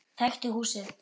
Þekkti húsið.